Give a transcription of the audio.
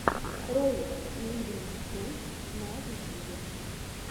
ролик ливинг тойс на ютюбе